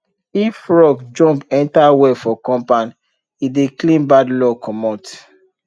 if frog jump enter well for compound e dey clean bad luck comot